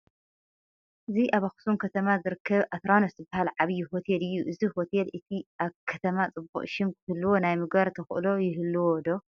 እዚ ኣብ ኣኽሱም ከተማ ዝርከብ ኣትራኖንስ ዝበሃል ዓብዪ ሆቴል እዩ፡፡ እዚ ሆቴል እቲ ከተማ ፅቡቕ ሽም ክህልዎ ናይ ምግባር ተኽእሎ ይህልዎ ዶ?